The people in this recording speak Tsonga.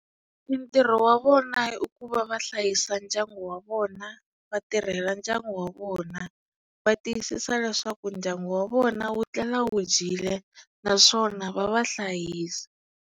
Mintirho wa vona i ku va va hlayisa ndyangu wa vona va tirhela ndyangu wa vona va tiyisisa leswaku ndyangu wa vona wu etlela wu dyile naswona va va hlayisa.